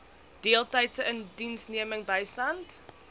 deeltydse indiensneming bystand